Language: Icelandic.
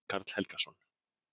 Jón Karl Helgason.